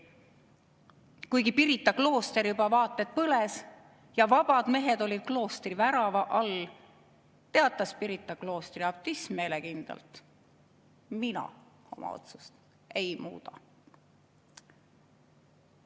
Kuigi Pirita klooster juba vaata et põles ja vabad mehed olid kloostri värava all, teatas Pirita kloostri abtiss meelekindlalt: "Mina oma otsust ei muuda.